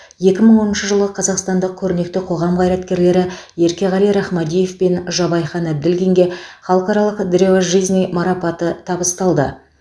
екі мың оныншы жылы қазақстандық көрнекті қоғам қайраткерлері еркеғали рахмадиев пен жабайхан әбділдинге халықаралық древо жизни марапаты табысталды